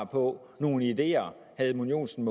på nogle ideer herre edmund joensen